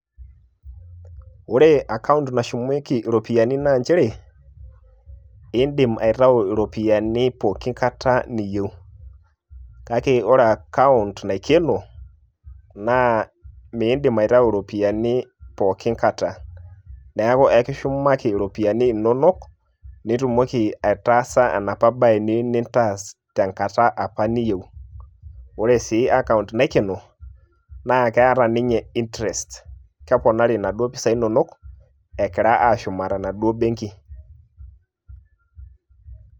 Ore ekaunt nashumieki iropiyiani naa nchere, eedim aitau iropiyiani pooki Kata niyieu. Kake ore akaunt naikeno naa miidim aitayu iropiyiani pooki Kata, neeku kekishumaki iropiyiani inono nitumoki aitaasa enapa bae niyieu nintaas tenkata apa niyieu, ore sii ekaunt naikeno naa keeta ninye interest keponari inaduo pisai inonok, egira aashuma tenaduo bengi.